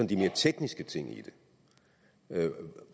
de mere tekniske ting i det